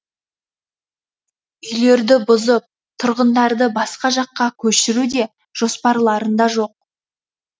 үйлерді бұзып тұрғындарды басқа жаққа көшіру де жоспарларында жоқ